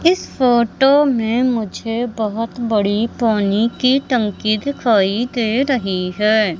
इस फोटो में मुझे बहुत बड़ी पानी की टंकी दिखाई दे रही है।